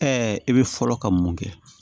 e bɛ fɔlɔ ka mun kɛ